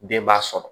Den b'a sɔrɔ